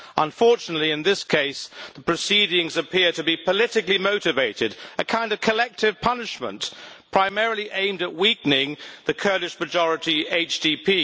Unfortunately, in this case, the proceedings appear to be politically motivated a kind of collective punishment primarily aimed at weakening the Kurdish majority HDP.